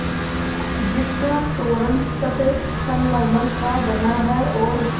जिसका तोरण सफ़ेद संगमरमर का बना है और